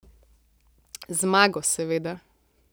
Z zmago, seveda.